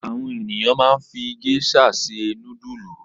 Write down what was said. Àwọn ènìyàn máa ń fi géíṣà se núdúlù.